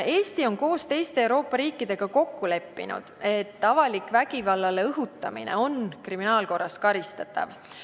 Eesti on koos teiste Euroopa riikidega kokku leppinud, et avalik vägivallale õhutamine on kriminaalkorras karistatav.